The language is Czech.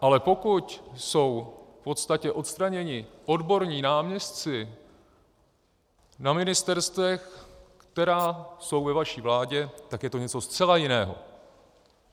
Ale pokud jsou v podstatě odstraněni odborní náměstci na ministerstvech, která jsou ve vaší vládě, tak je to něco zcela jiného.